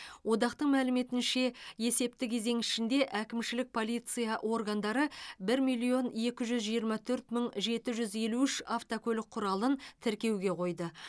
одақ мәліметінше есепті кезең ішінде әкімшілік полиция органдары бір миллион екі жүз жиырма төрт мың жеті жүз елу үш автокөлік құралын тіркеуге қойды